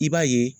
I b'a ye